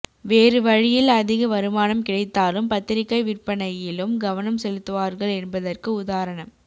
வேறு வழியில் அதிக வருமானம் கிடைத்தாலும் பத்திரிகை விற்பனையிலும் கவனம் செலுத்துவார்கள் என்பதற்கு உதாரணம்